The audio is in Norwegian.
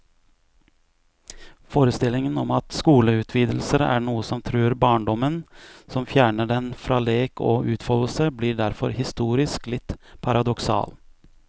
Forestillingen om at skoleutvidelser er noe som truer barndommen, som fjerner den fra lek og utfoldelse, blir derfor historisk litt paradoksal.